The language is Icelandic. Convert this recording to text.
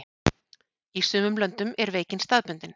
í sumum löndum er veikin staðbundin